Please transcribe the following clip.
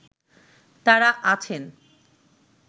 তারা আছেন